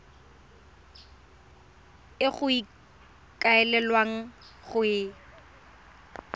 e go ikaelelwang go e